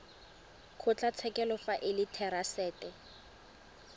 kgotlatshekelo fa e le therasete